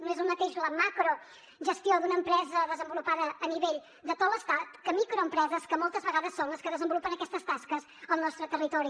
no és el mateix la macrogestió d’una empresa desenvolupada a nivell de tot l’estat que microempreses que moltes vegades són les que desenvolupen aquestes tasques al nostre territori